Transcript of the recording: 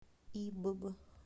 ибб